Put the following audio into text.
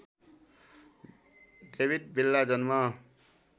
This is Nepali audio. डेविट विल्ला जन्म